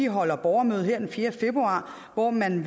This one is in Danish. holder borgermøde her den fjerde februar hvor man